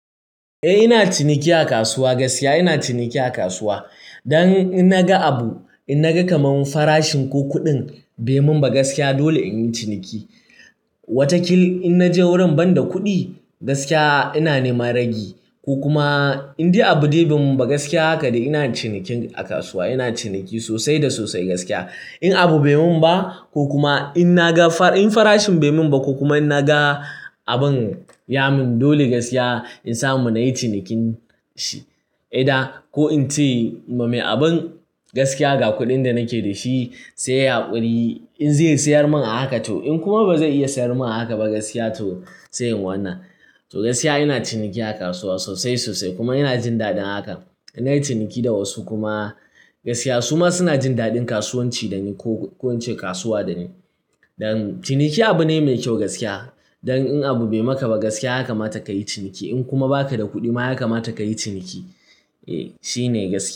Eh ina ciniki a kasuwa gaskiya. Ina ciniki a kasuwa don in na ga abu, in na ga kamar farashin ko kuɗin bai mun ba gaskiya dole in yi ciniki. Wata kil in naje wurin bada kuɗi gaskiya ina neman ragi ko kuma in yi abu dai bai mun ba gaskiya haka dai ina cinikin a kasuwa. Ina ciniki sosai da sosai gaskiya. In abu bai mun ba ko kuma in na ga farashin bai mun ba ko kuma in na ga abin ya mun dole gaskiya in samu na yi cinikin shi. Eda ko in ce ma mai abin gaskiya ga kuɗin da nake da shi sai yai hskuri in zai sayar mun a haka to in kuma ba zai iya sayar mun a haka ba gaskiya to sai in wanna. To gaskiya ina ciniki a kasuwa sosai sosai kuma ina jin daɗin haka. Ina yin ciniki da wasu kuma gaskiya su ma suna jin daɗin kasuwanci da ni ko in ce kasuwa da ni. Don ciniki abu ne mai kyau gaskiya. Don in abu bai maka ba gaskiya haka mata ka yi ciniki. In kuma ba ka da kuɗi ma haka mata ka yi ciniki. Eh shi ne gaskiya.